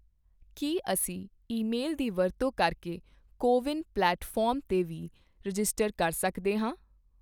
ਕੀ ਅਸੀਂ ਈਮੇਲ ਦੀ ਵਰਤੋਂ ਕਰਕੇ ਕੋ ਵਿਨ ਪਲੇਟਫਾਰਮ 'ਤੇ ਵੀ ਰਜਿਸਟਰ ਕਰ ਸਕਦੇ ਹਾਂ?